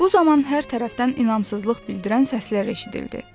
Bu zaman hər tərəfdən inamsızlıq bildirən səslər eşidildi.